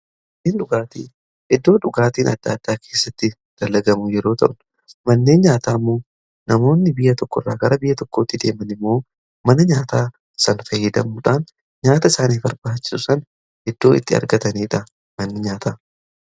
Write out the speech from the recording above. dhugaatii iddoo dhugaatiin adda addaa keessatti dalagamu yeroo ta'un mannee nyaataa immoo namoonni biyya tokko irraa gara biyya tokkootti deeman immoo mana nyaataa san fayyidamuudhaan nyaata isaanii barbaachisuu san iddoo itti argataniidha manni nyaata.